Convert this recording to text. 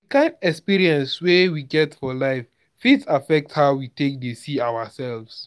di kind experience wey we don get for life fit affect how we take dey see ourself